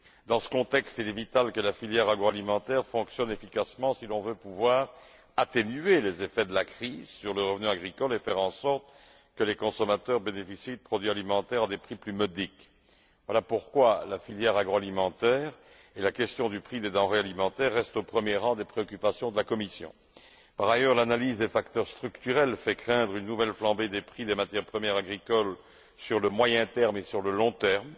Dans ce contexte, il est vital que la filière agroalimentaire fonctionne efficacement si l'on veut pouvoir atténuer les effets de la crise sur le revenu agricole et faire en sorte que les consommateurs bénéficient de produits alimentaires à des prix plus modiques. Voilà pourquoi la filière agroalimentaire et la question du prix des denrées alimentaires restent au premier rang des préoccupations de la Commission. Par ailleurs, l'analyse des facteurs structurels fait craindre une nouvelle flambée des prix des matières premières agricoles sur le moyen terme et sur le long terme.